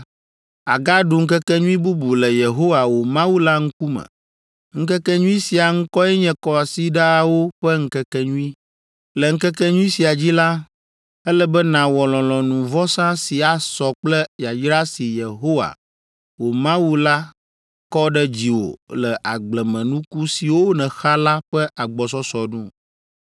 àgaɖu ŋkekenyui bubu le Yehowa, wò Mawu la ŋkume. Ŋkekenyui sia ŋkɔe nye Kɔsiɖawo ƒe Ŋkekenyui. Le ŋkekenyui sia dzi la, ele be nàwɔ lɔlɔ̃nuvɔsa si asɔ kple yayra si Yehowa, wò Mawu la kɔ ɖe dziwò le agblemenuku siwo nèxa la ƒe agbɔsɔsɔ nu.